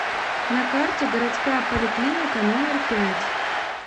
на карте городская поликлиника номер пять